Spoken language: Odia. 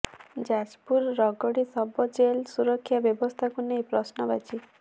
ଯାଜପୁର ରଗଡ଼ି ସବ ଜେଲ୍ର ସୁରକ୍ଷା ବ୍ୟବସ୍ଥାକୁ ନେଇ ପ୍ରଶ୍ନବାଚୀ